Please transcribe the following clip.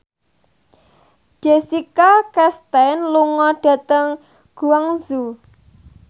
Jessica Chastain lunga dhateng Guangzhou